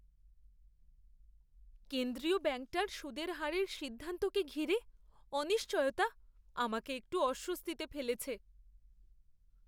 কেন্দ্রীয় ব্যাঙ্কটার সুদের হারের সিদ্ধান্তকে ঘিরে অনিশ্চয়তা আমাকে একটু অস্বস্তিতে ফেলেছে।